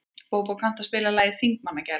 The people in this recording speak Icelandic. Bóbó, kanntu að spila lagið „Þingmannagæla“?